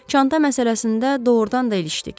Çanta məsələsində doğrudan da ilişdik.